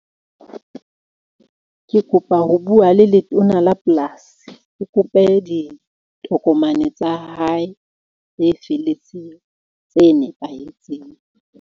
Ke kopa ho bua le letona la polasi, o kope ditokomane tsa hae tse felletseng tse nepahetseng.